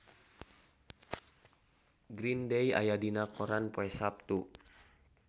Green Day aya dina koran poe Saptu